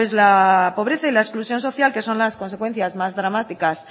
la pobreza y la exclusión social que son las consecuencias más dramáticas